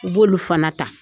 U b'olu fana ta